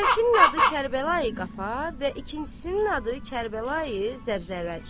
Əvvəlkinin adı Kərbəla Qafar və ikincisinin adı Kərbəla Zəbzəlidir.